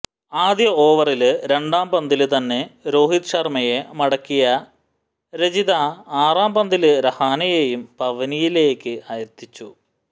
ആദ്യ ഓവറില് രണ്ടാം പന്തില് തന്നെ രോഹിത് ശര്മ്മയെ മടക്കിയ രജിത ആറാം പന്തില് രഹാനെയേയും പവലിയനില് എത്തിച്ചു